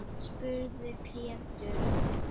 spurði Pétur.